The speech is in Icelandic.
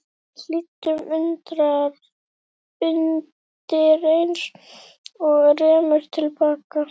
Við hlýddum undireins og rerum til baka.